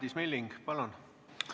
Madis Milling, palun!